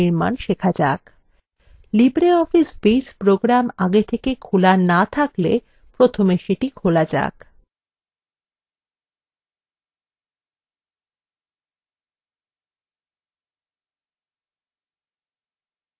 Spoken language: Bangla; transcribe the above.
libreoffice base program আগে থেকে খোলা না থাকলে প্রথমে let খোলা যাক